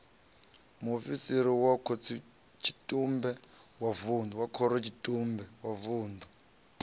muofisiri wa khorotshitumbe wa vunḓu